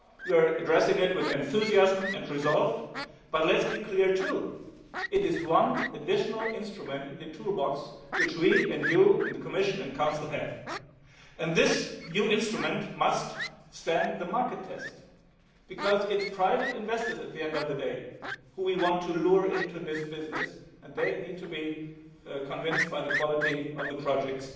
important initiative. We are addressing them with enthusiasm and resolve. But let us be clear they are one more instrument in the toolbox which we, you, the Commission and the Council have. This new instrument must stand the market test, because it is private investors at the end of the day whom we want to lure into this business and they need to be convinced by the